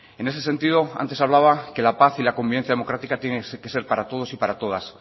en ese sentido antes hablaba que la paz y la convivencia democrática tienen que ser para todos y para todas